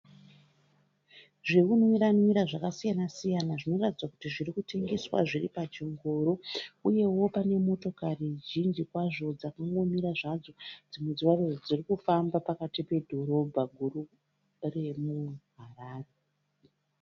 Zvekunwira nwira zvakasiyana siyana zviri zvinoratidza kuti zviri kutengeswa zviri pachingoro uyewo pane motokari zhinji kwazvo dzakangomira zvadzo dzimwe dziri kufamba pakati pedhorobha guru remuHarare.